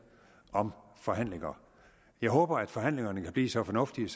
om forhandlinger jeg håber at forhandlingerne kan blive så fornuftige